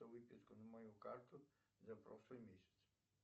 выписку на мою карту за прошлый месяц